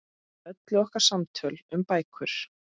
Öll okkar samtöl um bækur.